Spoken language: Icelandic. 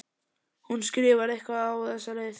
Hún skrifar eitthvað á þessa leið